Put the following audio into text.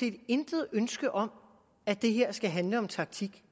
set intet ønske om at det her skal handle om taktik